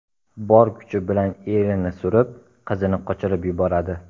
Bor kuchi bilan erini surib, qizini qochirib yuboradi.